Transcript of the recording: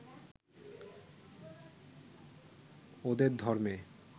ওদের ধর্মে